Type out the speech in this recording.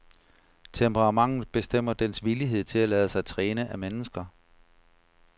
Temperamentet bestemmer dens villighed til at lade sig træne af mennesker.